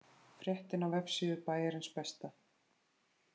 Fréttin á vefsíðu Bæjarins besta